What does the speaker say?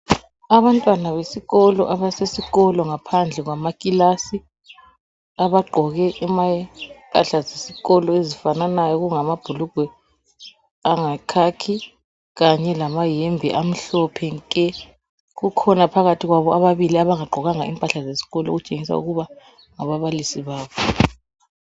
Abantwana besikolo abasesikolo ngaphandle kwezindlu zabo zokufundela abaqoke imphahla zesikolo ezifananayo okungamabhulukwe ayikhakhi kanye lamayembe Amhlophe nkee kukhona phakathi kwabo ababili abangagqokanga impahla zezikolo okutshengisa ukuthi ngababalisi babo.